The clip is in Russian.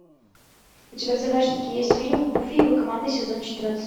у тебя в загашнике есть фильм гуфи и его команда сезон четырнадцать